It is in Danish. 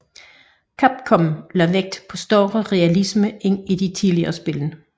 Capcom lagt vægt på større realisme end i de tidligere spil